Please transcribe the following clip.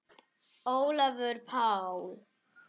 Sókn: Ólafur Páll